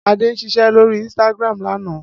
Ade ń ṣiṣẹ́ lórí Instagram lánàá